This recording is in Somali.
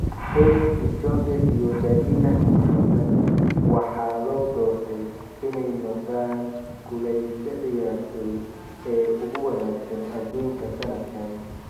Eliud Kipchoge iyo Dalilah Muhammad waxaa loo doortay inay noqdaan kuleyse ciyaartoy ee ugu wanaagsan adduunka sannadkaan.